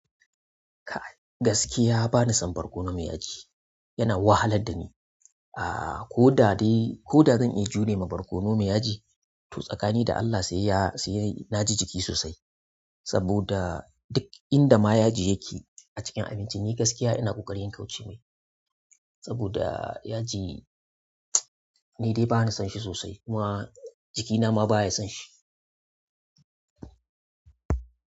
Kai gaskiya ba ni son barkono mai yaji, yana wahalar da ni. Aaa ko da dai, ko da zan iya jure ma barkono mai yaji, to tsakani da Allah sai ya, sai na ji jiki sosai. Saboda duk inda ma yaji yake a cikin abinci ni gaskiya ina ƙoƙari in kauce mai. Saboda yaji, ni dai ba ni son shi sosai kuma jikina ma baya son shi.